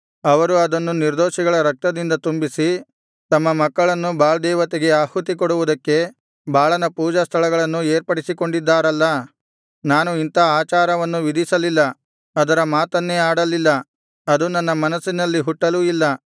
ಅವರು ಅದನ್ನು ನಿರ್ದೋಷಿಗಳ ರಕ್ತದಿಂದ ತುಂಬಿಸಿ ತಮ್ಮ ಮಕ್ಕಳನ್ನು ಬಾಳ್ ದೇವತೆಗೆ ಆಹುತಿ ಕೊಡುವುದಕ್ಕೆ ಬಾಳನ ಪೂಜಾಸ್ಥಳಗಳನ್ನು ಏರ್ಪಡಿಸಿಕೊಂಡಿದ್ದಾರಲ್ಲಾ ನಾನು ಇಂಥಾ ಆಚಾರವನ್ನು ವಿಧಿಸಲಿಲ್ಲ ಅದರ ಮಾತನ್ನೇ ಆಡಲಿಲ್ಲ ಅದು ನನ್ನ ಮನಸ್ಸಿನಲ್ಲಿ ಹುಟ್ಟಲೂ ಇಲ್ಲ